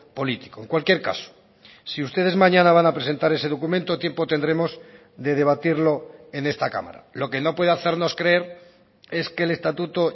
político en cualquier caso si ustedes mañana van a presentar ese documento tiempo tendremos de debatirlo en esta cámara lo que no puede hacernos creer es que el estatuto